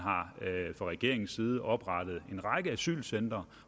fra regeringens side har oprettet en række asylcentre